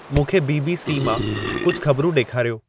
मूंखे B. B. C. मां कुझु ख़बरूं ॾेखारियो